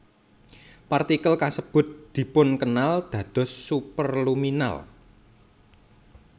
Partikel kasebut dipunkenal dados superluminal